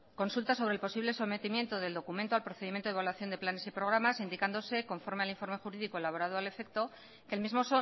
consulta sobre el posible sometimiento del documento al procedimiento de evaluación de planes y programas indicándose conforme al informe jurídico elaborado al efecto que el mismo